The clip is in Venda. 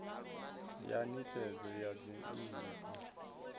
ya nisedzo ya dzinnu dza